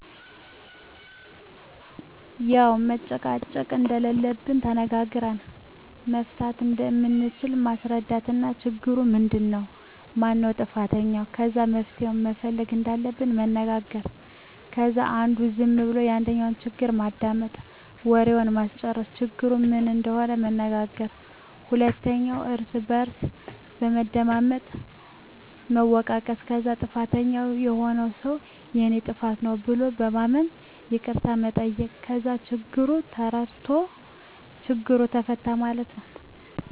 ያዉ መጨቃጨቅ እንደለለብን ተነጋግረን መፍታት እንደምንችል ማስረዳት እና ችግሩ ምንድን ነዉ ? ማነዉ ጥፋተኛዉ? ከዛ መፍትሄ መፈለግ እንዳለብን መነጋገር ከዛ አንዱ ዝም ብሎ የአንዱን ችግር ማዳመጥ፣ ወሬዉን ማስጨረስ፣ ችግሩ ምን እንደሆነ መናገር ሁለቱም እርስ በርስ በመደማመጥ መወቃቀስ ከዛ ጥፋተኛዉ የሆነዉ ሰዉ የኔ ጥፋት ነዉ ብሎ በማመን ይቅርታ መጠየቅ ከዛ ችግሩ ተፈታ ማለት ነዉ።